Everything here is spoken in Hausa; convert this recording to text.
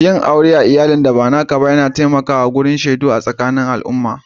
Yin aure a'iyallin da ba naka ba ya taimaka wajen karfafawan shaidu sakanin alummai.